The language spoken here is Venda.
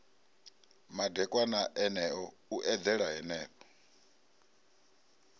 madekwana eneo u eḓela henefho